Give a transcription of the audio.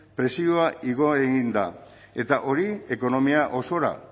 prezioa igo egin da eta hori ekonomia osora